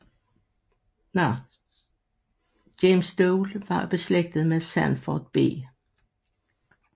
James Dole var beslægtet med Sanford B